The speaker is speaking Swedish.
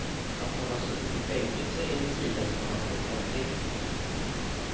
Att han har suttit i fängelse är en sida som han hållit hemlig.